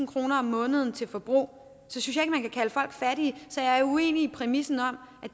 kroner om måneden til forbrug for fattig så jeg er uenig i præmissen om